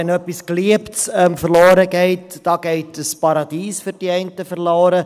Wenn etwas Geliebtes verloren geht, dann geht für die einen ein Paradies verloren.